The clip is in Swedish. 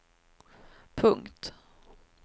punkt